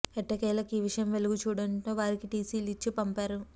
ఎట్టకేలకు ఈ విషయం వెలుగుచూడడంతో వారికి టిసి లు ఇచ్చి పంపారు